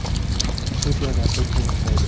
Bu joylarda kim ishlaydi?